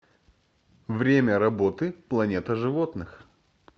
время работы планета животных